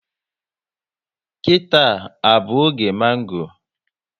Kita à bụ oge mango?